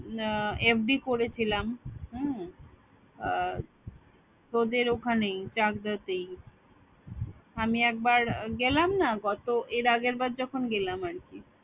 আহ FD করেছিলাম হম তোদের ওখানেই চাকদাতেই আমি একবার গেলাম না গত এর আগের বার যখন গেলাম আরকি